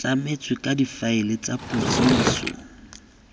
tlametswe ka difaele tsa dipotsiso